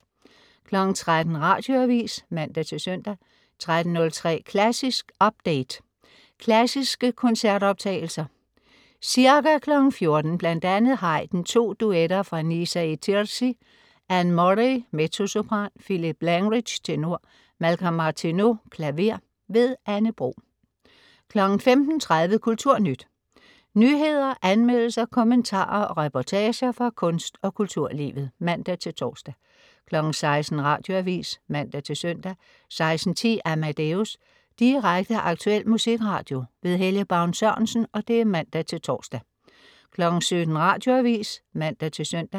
13.00 Radioavis (man-søn) 13.03 Klassisk update. Klassiske koncertoptagelser. Ca. 14.00 bl.a. Haydn: To duetter fra Nisa e Tirsi. Ann Murray, mezzosopran. Philip Langridge, tenor. Malcolm Martineau, klaver. Anne Bro 15.30 Kulturnyt. Nyheder, anmeldelser, kommentarer og reportager fra kunst- og kulturlivet (man-tors) 16.00 Radioavis (man-søn) 16.10 Amadeus. Direkte, aktuel musikradio. Helge Baun Sørensen (man-tors) 17.00 Radioavis (man-søn)